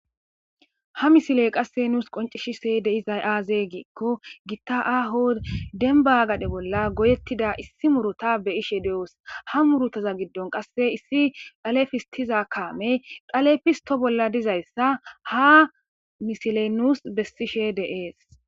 Ha misile qasse nuus qoncishise deizay aaze giikko gitta aho denba gade bolla goyettida issi murota beyishe de'oos ha murotaza giddon qasse issi dhalefistiza kaame dalefisto bolla dizayssa ha misile nuus bessishe de'ees